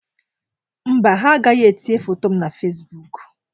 Mba, ha agaghị etinye foto m na Fesibuuku.